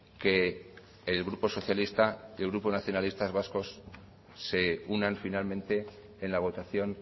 que el grupo socialista y el grupo de nacionalistas vascos se unan finalmente en la votación